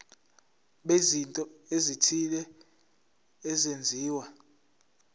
bezinto ezithile ezenziwa